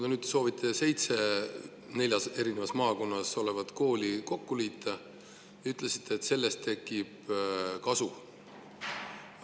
Te soovite seitse neljas eri maakonnas olevat kooli kokku liita ja ütlete, et sellest tekib kasu.